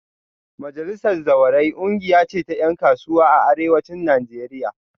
Majalisar Zawarai kungiya ce ta yan kasuwa a Arewacin Najeriya